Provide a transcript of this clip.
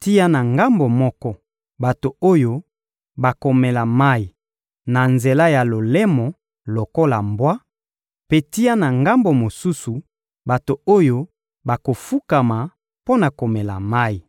tia na ngambo moko, bato oyo bakomela mayi na nzela ya lolemo lokola mbwa; mpe tia na ngambo mosusu, bato oyo bakofukama, mpo na komela mayi.»